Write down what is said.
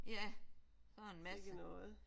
Ja sådan en masse